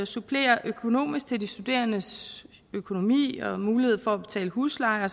supplere økonomisk til de studerendes økonomi og mulighed for at betale husleje og